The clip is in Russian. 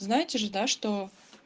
знаете же да что